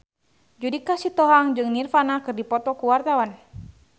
Judika Sitohang jeung Nirvana keur dipoto ku wartawan